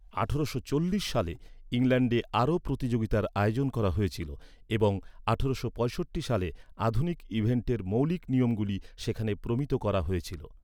ঠারোশো চল্লিশ সালে ইংল্যান্ডে আরও প্রতিযোগিতার আয়োজন করা হয়েছিল এবং আঠারোশো পঁয়ষট্টি সালে আধুনিক ইভেন্টের মৌলিক নিয়মগুলি সেখানে প্রমিত করা হয়েছিল।